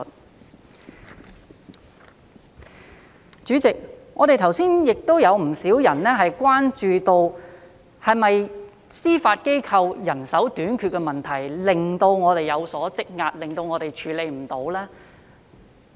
代理主席，剛才亦有不少議員關注到，是否司法機構的人手短缺導致案件積壓，處理不來呢？